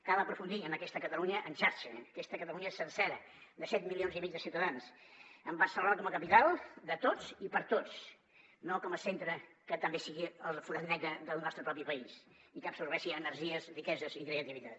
cal aprofundir en aquesta catalunya en xarxa aquesta catalunya sencera de set milions i mig de ciutadans amb barcelona com a capital de tots i per a tots no com a centre que també sigui el forat negre del nostre propi país i que absorbeixi energies riqueses i creativitat